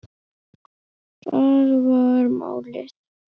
Það var málið.